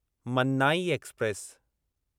Mannai express